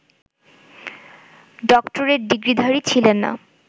doctorate ডিগ্রিধারী ছিলেন না